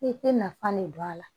I tɛ nafa ne don a la